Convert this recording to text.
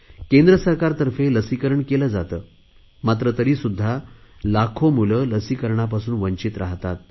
केंद्र सरकारतर्फे लसीकरण केले जाते मात्र तरीसुध्दा लाखो मुले लसीकरणापासून वंचित राहतात